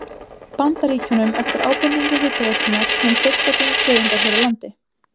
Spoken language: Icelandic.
Bandaríkjunum eftir ábendingu Hitaveitunnar, hin fyrsta sinnar tegundar hér á landi.